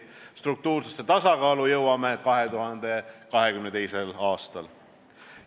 Struktuursesse tasakaalu jõuame 2022. aastal.